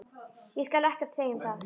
Ég skal ekkert segja um það.